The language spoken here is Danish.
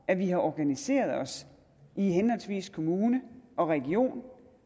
at vi har organiseret os i henholdsvis kommune og region